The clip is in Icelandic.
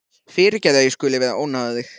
Fyrirgefðu að ég skuli vera að ónáða þig.